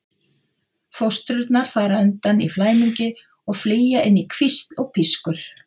Fóstrurnar fara undan í flæmingi og flýja inn í hvísl og pískur.